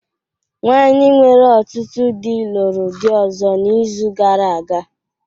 Nwanyị nwere ọtụtụ di lụrụ di ọzọ n’izu gara aga